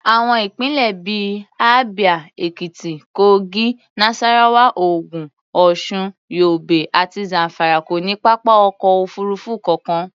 Àwọn ìpínlẹ̀ bí i Abia, Ekiti, Kogi, Nasarawa, Ogun, Osun, Yobe àti Zamfara kò ní pápá ọkọ̀ òfuurufú kankan.